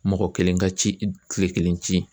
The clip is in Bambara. Mɔgɔ kelen ka ci kile kelen ci